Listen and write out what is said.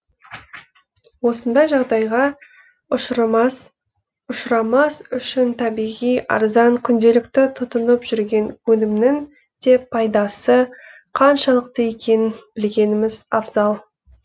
осындай жағдайға ұшырамас үшін табиғи арзан күнделікті тұтынып жүрген өнімнің де пайдасы қаншалықты екенін білгеніміз абзал